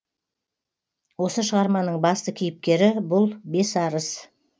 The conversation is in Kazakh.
осы шығарманың басты кейіпкері бұл бесарыс